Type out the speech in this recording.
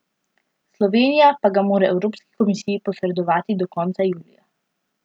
Slovenija pa ga mora Evropski komisiji posredovati do konca julija.